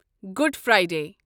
گۄڈ فرایڈے